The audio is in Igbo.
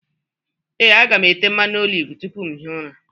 Ee, aga m ete mmanụ oliv tupu m ehie ụra.